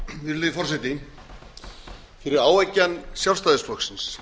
virðulegi forseti fyrir áeggjan sjálfstæðisflokksins